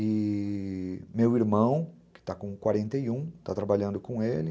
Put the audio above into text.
E meu irmão, que está com quarenta e um, está trabalhando com ele.